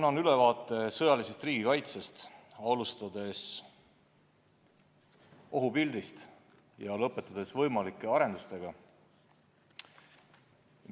Annan ülevaate sõjalisest riigikaitsest, alustades ohupildist ja lõpetades võimalike arendustega.